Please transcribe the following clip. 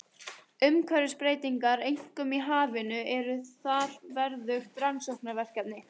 Umhverfisbreytingar, einkum í hafinu, eru þar verðugt rannsóknarefni.